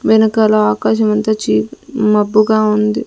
వెనకాల ఆకాశం అంత చీప్ మబ్బుగా ఉంది.